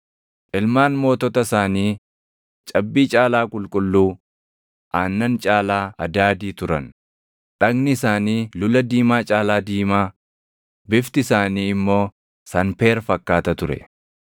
Ilmaan mootota isaanii cabbii caalaa qulqulluu, aannan caalaa adaadii turan; dhagni isaanii lula diimaa caalaa diimaa, bifti isaanii immoo sanpeer fakkaata ture.